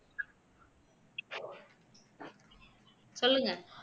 சொல்லுங்க